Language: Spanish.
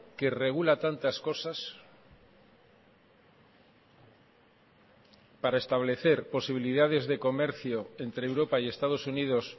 que regula tantas cosas para establecer posibilidades de comercio entre europa y estados unidos